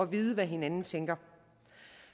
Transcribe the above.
vide hvad hinanden tænker